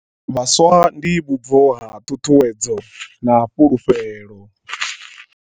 Vhaswa ndi vhubvo ha ṱhuṱhuwedzo na fhulufhelo.